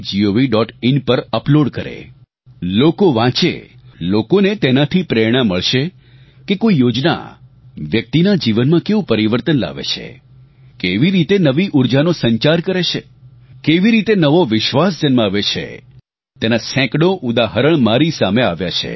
in પર upload કરે લોકો વાંચે લોકોને તેનાથી પ્રેરણા મળશે કે કોઇ યોજના વ્યક્તિના જીવનમાં કેવું પરિવર્તન લાવે છે કેવી રીતે નવી ઊર્જાનો સંચાર કરે છે કેવી રીતે નવો વિશ્વાસ જન્માવે છે તેના સેંકડોં ઉદાહરણ મારી સામે આવ્યા છે